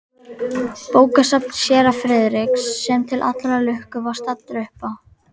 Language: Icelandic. Bókasafn séra Friðriks, sem til allrar lukku var staddur uppá